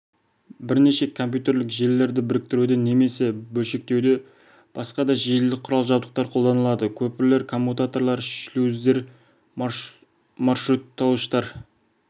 бірнеше компьютерлік желілерді біріктіруде немесе бөлшектеуде басқа да желілік құрал-жабдықтар қолданылады көпірлер коммутаторлар шлюздер маршруттауыштар